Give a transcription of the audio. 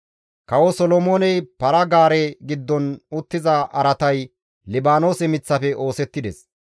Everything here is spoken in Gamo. Kawo Solomooney para-gaare giddon uttiza araatay Libaanoose miththafe oosettides.